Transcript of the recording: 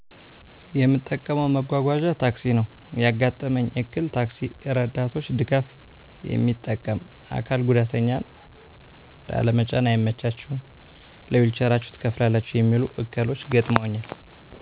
የምጠቀመው መጓጓዣ ታክሲ ነው ያጋጠመኝ እክል ታክሲ እርዳቶች ድጋፍ የሚጠቀም አካል ጉዳተኛን ላለመጫን አይመቻችሁም ለዊልቸራችሁ ትከፍላላችሁ የሚሉ እክሎች ገጥመውኛል።